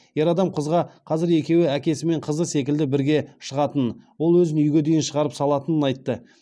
ер адам қызға қазір екеуі әкесі мен қызы секілді бірге шығатынын ол өзін үйге дейін шығарып салатынын айтты